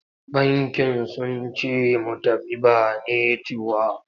Bankin sun ce mu tafi ba netiwok.